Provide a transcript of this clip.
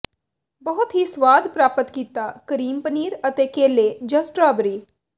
ਬਹੁਤ ਹੀ ਸਵਾਦ ਪ੍ਰਾਪਤ ਕੀਤਾ ਕਰੀਮ ਪਨੀਰ ਅਤੇ ਕੇਲੇ ਜ ਸਟ੍ਰਾਬੇਰੀ